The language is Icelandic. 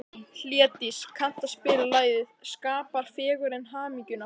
Hlédís, kanntu að spila lagið „Skapar fegurðin hamingjuna“?